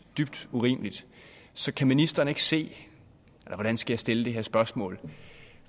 dybt urimeligt så kan ministeren ikke se eller hvordan skal jeg stille det her spørgsmål